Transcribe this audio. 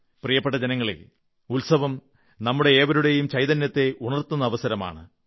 പ്രിയപ്പെട്ട ജനങ്ങളേ ഉത്സവം നമ്മുടെയേവരുടെയും ചൈതന്യത്തെ ഉണർത്തുന്ന അവസരമാണ്